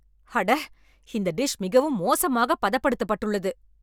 அட, இந்த டிஷ் மிகவும் மோசமாகப் பதப்படுத்தப்பட்டுள்ளது